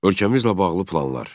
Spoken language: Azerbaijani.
Ölkəmizlə bağlı planlar.